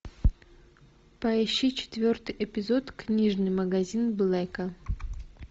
поищи четвертый эпизод книжный магазин блэка